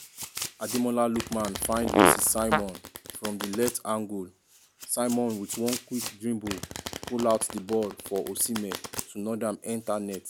ademola lookman find moses simon from di left angle simon wit one quick dribble pull out di ball for osihmen to nod am enta net.